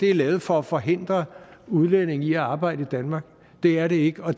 er lavet for at forhindre udlændinge i at arbejde i danmark det er det ikke og